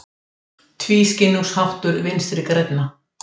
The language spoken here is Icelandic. Tvískinnungsháttur Vinstri grænna